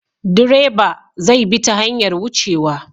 Direba zai bi ta hanyar wucewa.